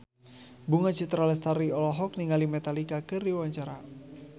Bunga Citra Lestari olohok ningali Metallica keur diwawancara